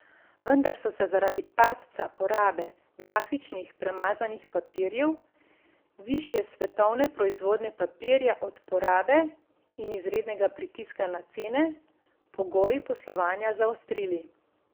Vendar so se zaradi padca porabe grafičnih premazanih papirjev, višje svetovne proizvodnje papirja od porabe in izrednega pritiska na cene, pogoji poslovanja zaostrili.